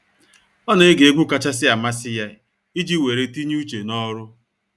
Ọ na ege egwu kachasị amasị ya iji weere tinye uche n’ọrụ.